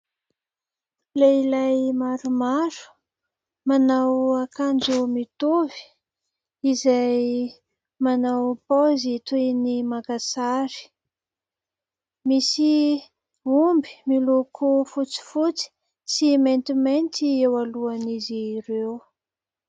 Lehilahy maromaro manao akanjo mitovy izay manao paozy toin'ny maka sary, misy omby miloko fotsifotsy sy maintimainty eo alohan'izy ireo.